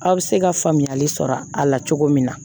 Aw bɛ se ka faamuyali sɔrɔ a la cogo min na